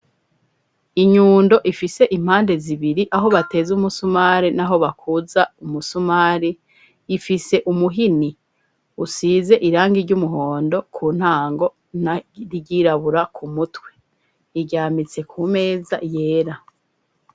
Inyundo ifise impande zibiri aho bateze umusumari na ho bakuza umusumari ifise umuhini usize irangi ry'umuhondo ku ntango na ryirabura ku mutwe iryamitse ku meza yera.